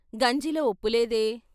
" గంజిలో ఉప్పులేదే!